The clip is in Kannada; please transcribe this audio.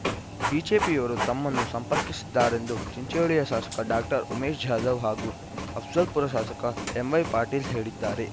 ಬಿಜೆಪಿಯವರು ತಮ್ಮನ್ನು ಸಂಪರ್ಕಿಸಿದ್ದಾರೆಂದು ಚಿಂಚೋಳಿಯ ಶಾಸಕ ಡಾಕ್ಟರ್ ಉಮೇಶ್‌ ಜಾಧವ ಹಾಗೂ ಅಫಜಲ್ಪುರ ಶಾಸಕ ಎಂವೈ ಪಾಟೀಲ್‌ ಹೇಳಿದ್ದಾರೆ